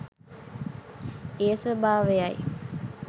එය ස්වභාවයයි